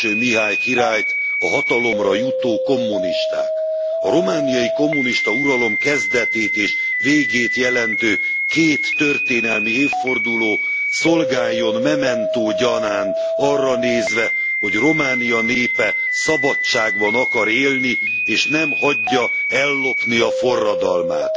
Mihály királyt a hatalomra jutó kommunisták. A romániai kommunista uralom kezdetét és végét jelentő két történelmi évforduló szolgáljon memento gyanánt arra nézve, hogy Románia népe szabadságban akar élni, és nem hagyja ellopni a forradalmát.